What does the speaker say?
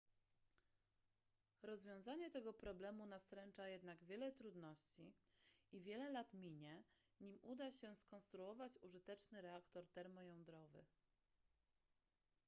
rozwiązanie tego problemu nastręcza jednak wiele trudności i wiele lat minie nim uda się skonstruować użyteczny reaktor termojądrowy